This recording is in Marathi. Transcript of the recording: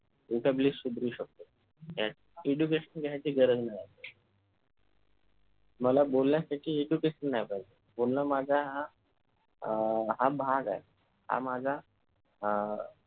VOCABULARY सुधरू शकतो ज्यात education घायची गरज नाही मला बोलण्यासाठी education नाही पाहिजे बोलणं माझा हा अह भाग आहे हा माझा अह